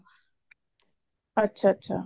ਅੱਛਾ ਅੱਛਾ